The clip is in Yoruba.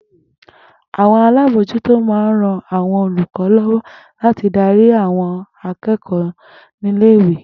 Àwo̩n alábòójútó máa ń ran àwo̩n olùkó̩ ló̩wó̩ láti darí àwo̩n aké̩kò̩ó̩ ní ilé ìwé